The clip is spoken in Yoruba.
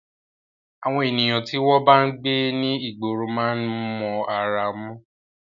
Àwọn ènìyàn tí wọ́n bá ń gbé ní ìgboro máa ń mọ ará mú.